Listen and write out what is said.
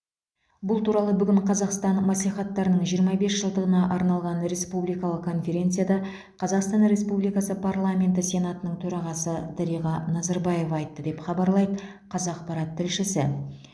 бұл туралы бүгін қазақстан мәслихаттарының жиырма бес жылдығына арналған республикалық конференцияда қазақстан республикасы парламенті сенатының төрағасы дариға назарбаева айтты деп хабарлайды қазақпарат тілшісі